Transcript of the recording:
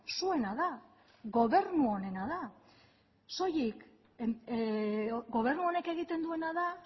zuena da gobernu honena da soilik gobernu honek egiten duena da